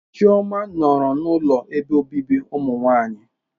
Chioma nọrọ n'ụlọ ebe obibi ụmụnwanyị.